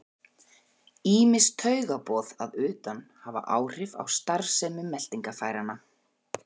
Ýmis taugaboð að utan hafa áhrif á starfsemi meltingarfæranna.